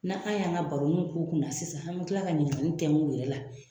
Na an y'an ka baroniw k'u kunna sisan an be kila ka ɲininkali tɛnkun u yɛrɛ la.